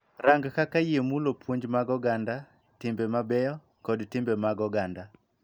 Rang kaka yie mulo puonj mag oganda, timbe mabeyo, kod timbe mag oganda.